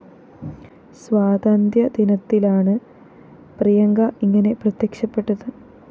സ്വാതന്ത്യദിനത്തിലാണ് പ്രിയങ്ക ഇങ്ങനെ പ്രത്യക്ഷപ്പെട്ടത്